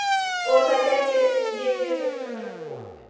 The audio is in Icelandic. Og þar gæti ég vel hugsað mér að búa.